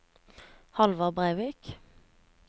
Halvard Breivik